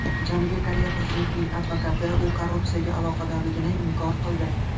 Janubiy Koreya prezidentining advokati u korrupsiyaga aloqadorligini inkor qildi.